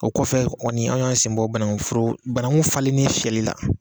O kɔfɛ kɔni an ka sen bɔ bananku foro, bananku falenin fiyɛli la.